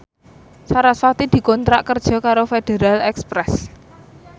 sarasvati dikontrak kerja karo Federal Express